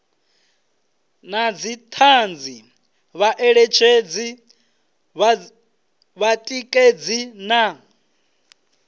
na dzithanzi vhaeletshedzi vhatikedzi na